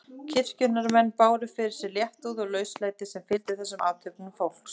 Kirkjunnar menn báru fyrir sig léttúð og lauslæti sem fylgdi þessum athöfnum fólks.